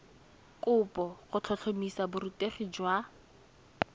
kopo go tlhotlhomisa borutegi jwa